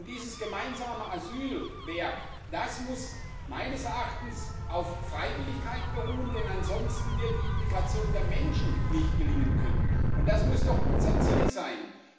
Und dieses gemeinsame Asylwerk muss meines Erachtens auf Freiwilligkeit beruhen, denn ansonsten wird die Integration der Menschen nicht gelingen können, und das muss doch unser Ziel sein.